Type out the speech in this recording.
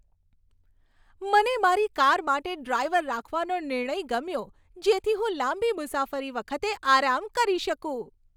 મને મારી કાર માટે ડ્રાઈવર રાખવાનો નિર્ણય ગમ્યો જેથી હું લાંબી મુસાફરી વખતે આરામ કરી શકું.